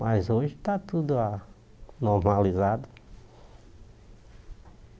Mas hoje está tudo a normalizado.